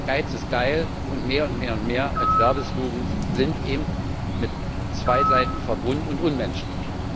Geiz ist geil und mehr und mehr und mehr als Werbeslogans sind eben mit zwei Seiten verbunden und unmenschlich.